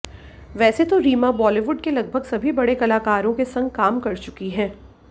वैसे तो रीमा बॉलीवुड के लगभग सभी बड़े कलाकारों के संग काम कर चुकी है